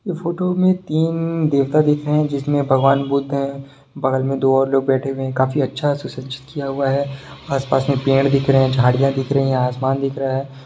ये फोटो मे तीन देवता दिख रहे है जिसमे भगवान बुद्ध है बगल मे दो और लोग बैठे हुए है काफी अच्छा सुषोजित किया हुआ है आस पास मे पेड़ दिख रहे है झड़िया दिख रही है आसमान दिख रहा है।